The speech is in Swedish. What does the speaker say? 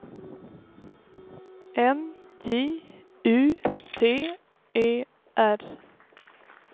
N J U T E R